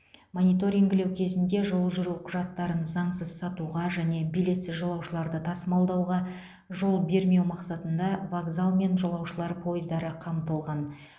мониторингілеу кезінде жол жүру құжаттарын заңсыз сатуға және билетсіз жолаушыларды тасымалдауға жол бермеу мақсатында вокзал мен жолаушылар пойыздары қамтылған